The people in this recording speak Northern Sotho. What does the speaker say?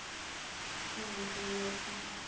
ka ge o be o